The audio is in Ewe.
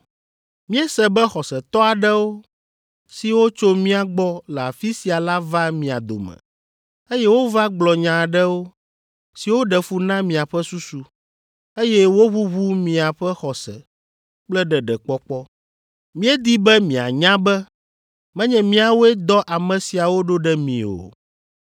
Míese be xɔsetɔ aɖewo, siwo tso mía gbɔ le afi sia la va mia dome, eye wova gblɔ nya aɖewo, siwo ɖe fu na miaƒe susu, eye woʋuʋu miaƒe xɔse kple ɖeɖekpɔkpɔ. Míedi be mianya be menye míawoe dɔ ame siawo ɖo ɖe mi o.